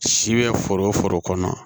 Si bɛ foro foro kɔnɔ